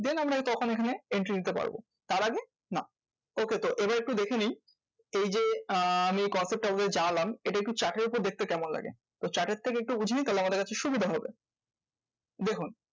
Then আমরা তখন এখানে entry নিতে পারবো তার আগে না। okay? তো এবার একটু দেখে নিই এই যে আহ আমি কত টা জানলাম এটা একটু chart এর উপর দেখতে কেমন লাগে? তো chart এর থেকে একটু বুঝে নি তাহলে আমাদের কাছে একটু সুবিধা হবে। দেখুন